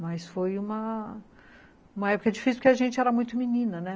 Mas foi uma época difícil porque a gente era muito menina, né?